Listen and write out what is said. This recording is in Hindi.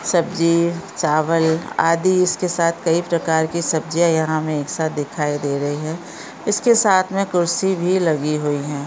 सब्जी चावल आदि इसके साथ कही प्रकार के सब्जिया यहा मे हमे एक साथ दिखाई दे रही है। इसके साथ मे कुर्सी भी लगी हुई है।